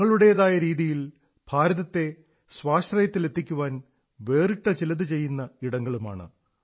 തങ്ങളേതായ രീതിയിൽ ഭാരതത്തെ സ്വാശ്രയത്തിലെത്തിക്കാൻ വേറിട്ട ചിലതു ചെയ്യുന്ന ഇടങ്ങളുമാണ്